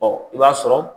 Ɔ i b'a sɔrɔ